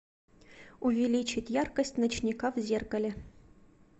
увеличить яркость ночника в зеркале